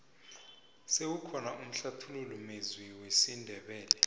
sewukhona umhlathululi mezwi wesindebele